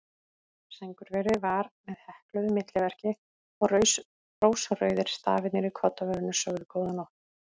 Sængurverið var með hekluðu milliverki og rósrauðir stafirnir í koddaverinu sögðu: Góða nótt.